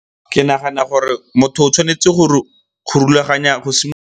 Ke nagana gore motho o tshwanetse go rulaganya, go .